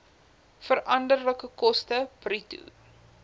veranderlike koste bruto